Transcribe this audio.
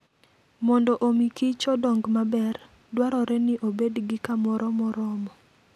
Mondo omi Kich odong maber, dwarore ni obed gi kamoro moromo.